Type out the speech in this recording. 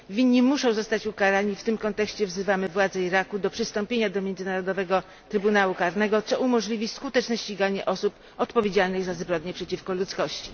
Winni muszą zostać ukarani, w tym kontekście wzywamy władze Iraku do przystąpienia do Międzynarodowego Trybunału Karnego, co umożliwi skuteczne ściganie osób odpowiedzialnych za zbrodnie przeciwko ludzkości.